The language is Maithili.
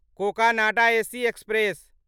Cocanada AC express